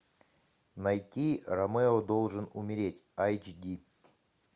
найти ромео должен умереть айч ди